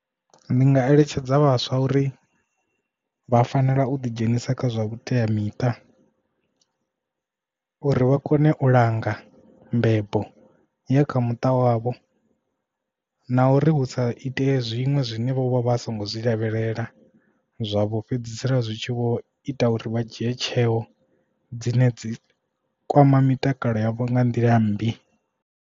Ndi nga eletshedza vhaswa uri vha fanela u ḓi dzhenisa kha zwa vhuteamiṱa uri vha kone u langa mbebo ya kha muṱa wavho na uri hu sa itee zwiṅwe zwine vho vha vha songo zwi lavhelela zwavho fhedzisela zwitshi vho ita uri vha dzhie tsheo dzine dzi kwama mitakalo yavho nga nḓila mmbi.